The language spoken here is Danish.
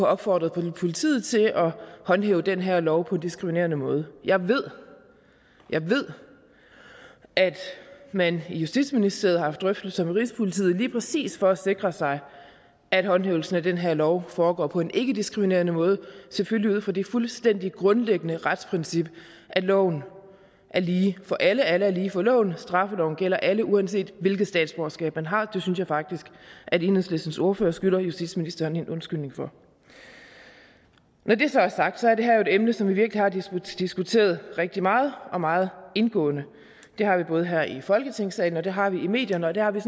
opfordret politiet til at håndhæve den her lov på en diskriminerende måde jeg ved jeg ved at man i justitsministeriet har haft drøftelser med rigspolitiet lige præcis for at sikre sig at håndhævelsen af den her lov foregår på en ikkediskriminerende måde selvfølgelig ud fra det fuldstændig grundlæggende retsprincip at loven er lige for alle at alle er lige for loven at straffeloven gælder alle uanset hvilket statsborgerskab man har det synes jeg faktisk enhedslistens ordfører skylder justitsministeren en undskyldning for når det så er sagt er det her jo et emne som vi virkelig har diskuteret rigtig meget og meget indgående det har vi både her i folketingssalen og det har vi i medierne og det har vi